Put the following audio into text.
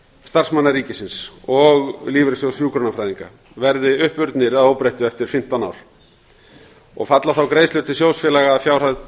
starfsmanna ríkisins og lífeyrissjóðs hjúkrunarfræðinga verði uppurnir að óbreyttu eftir fimmtán ár og falla þá greiðslur til sjóðfélaga að fjárhæð